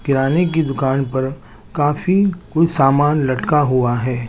किराने के दूकान पर काफी कुछ सामान लटका हुआ है।